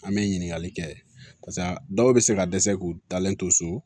An bɛ ɲininkali kɛ pase dɔw bɛ se ka dɛsɛ k'u dalen to so